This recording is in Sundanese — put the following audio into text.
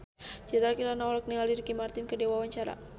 Citra Kirana olohok ningali Ricky Martin keur diwawancara